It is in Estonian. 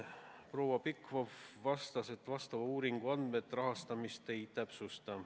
Proua Pikhof märkis, et sellekohase uuringu andmed rahastamist ei täpsusta.